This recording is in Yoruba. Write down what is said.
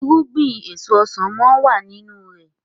irúgbìn èso ọsán món wá nínú rẹ